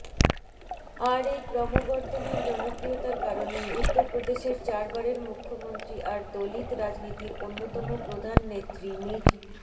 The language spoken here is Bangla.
আর এই ক্রমবর্ধমান জনপ্রিয়তার কারণেই উত্তরপ্রদেশের চারবারের মুখ্যমন্ত্রী আর দলিত রাজনীতির অন্যতম প্রধান নেত্রী মিজ